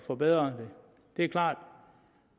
forbedret det er klart